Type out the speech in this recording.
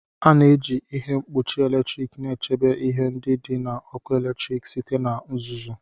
A na-eji ihe mkpuchi eletrik na-echebe ihe ndị dị na ọkụ eletrik site na uzuzu.